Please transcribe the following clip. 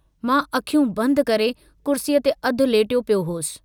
मां अखियूं बंदि करे कुर्सीअ ते अध लेटियो पियो हुअसि।